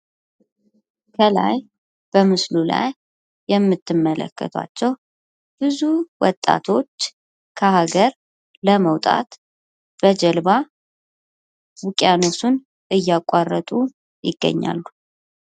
ከላይ በምስሉ ላይ የምትመለከቷቸው ብዙ ወጣቶች ከሀገር ለመውጣት በጀልባ ውቂያኖሱን እያቋረጡ ይገኛሉ።